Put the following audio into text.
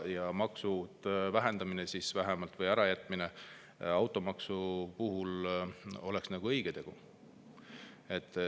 Ja maksude vähendamine vähemalt või automaksu ärajätmine oleks õige tegu.